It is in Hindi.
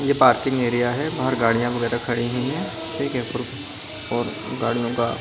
ये पार्किंग एरिया है और गाड़ियां वगैरह खड़ी हुई है ठीक है पर और गाड़ियों का --